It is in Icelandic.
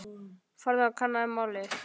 Farðu og kannaðu málið.